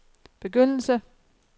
begyndelse